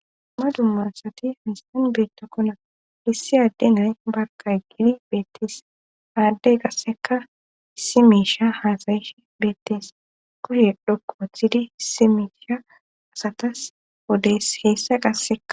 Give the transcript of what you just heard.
Dumma dummasati hanisan beettakkona lissi adde nay barqay gidi beettees aaddey qasseka si misha haasayishi beettees kushe dhokko woththidi isimisha asatas odes heessa qasseka